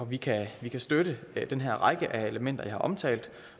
vi kan vi kan støtte den her række af elementer jeg har omtalt